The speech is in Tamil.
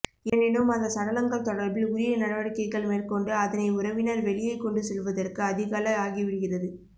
எனினும் அந்த சடலங்கள் தொடர்பில் உரிய நடவடிக்கைகள் மேற்கொண்டு அதனை உறவினர் வெளியே கொண்டு செல்வதற்கு அதிகாலை ஆகிவிடுகிறது